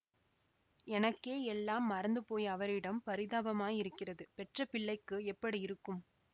எனக்கே எல்லாம் மறந்து போய் அவரிடம் பரிதாபமாயிருக்கிறது பெற்ற பிள்ளைக்கு எப்படி இருக்கும்